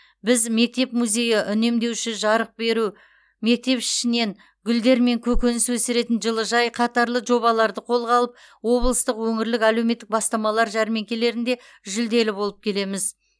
біз мектеп музейі үнемдеуші жарық беру мектеп ішінен гүлдер мен көкөніс өсіретін жылыжай қатарлы жобаларды қолға алып облыстық өңірлік әлеуметтік бастамалар жәрмеңкелерінде жүлделі болып келеміз